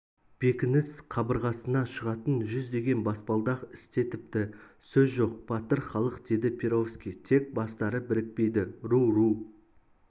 бекініс қабырғасына шығатын жүздеген баспалдақ істетіпті сөз жоқ батыр халық деді перовский тек бастары бірікпейді ру-ру